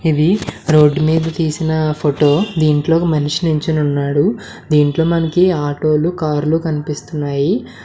ఇవి రోడ్డు మీద తీసిన ఫోటో దీంట్లో ఒక మానిషి నిల్చొని ఉన్నాడు దీంట్లో మనకి ఆటో లు కార్లు కనిపిస్తున్నాయి.